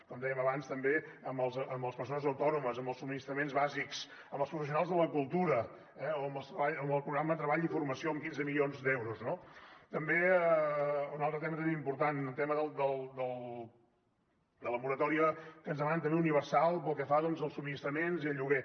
com dèiem abans també amb les persones autònomes amb els subministraments bàsics amb els professionals de la cultura o amb el programa treball i formació amb quinze milions d’euros no també un altre tema important el tema de la moratòria que ens demanen també universal pel que fa doncs als subministraments i al lloguer